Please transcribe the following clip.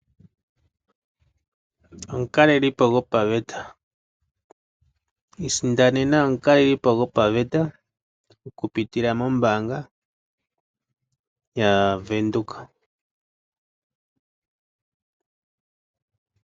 Omukalelipo gopaveta Isindanena omukaleli po gopaveta oku pitila mombaanga yaVenduka.